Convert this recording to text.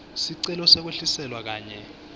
sicelo sekwehliselwa kanye